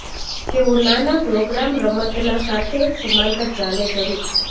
તેઓ નાના પ્રોગ્રામ રમતના સાથે સમાંતર ચાલે જરૂર છે